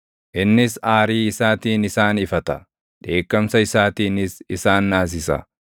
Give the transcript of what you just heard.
Innis aarii isaatiin isaan ifata; dheekkamsa isaatiinis isaan naasisa;